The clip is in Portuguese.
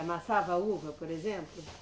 Amassava uva, por exemplo?